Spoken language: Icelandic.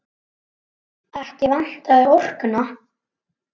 Ekki vantaði orkuna.